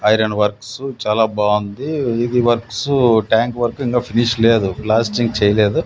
iron works చాలా బాంది ఇది వర్క్స్ ట్యాంక్ వర్క్ ఇంకా ఫినిష్ లేదు ఫ్లాస్టింగ్ చేయ్యలేదు--